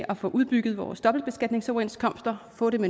at få udbygget vores dobbeltbeskatningsoverenskomster få dem